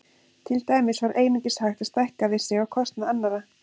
Til dæmis var einungis hægt að stækka við sig á kostnað annarra.